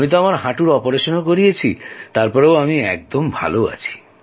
আমিতো আমার হাঁটুর অপারেশনও করিয়েছি তার পরেও আমি একদম ভালো আছি